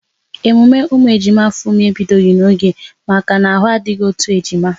Emume ụmụ ejima Funmi ebidoghi n'oge maka na ahụ adịghị otu ejima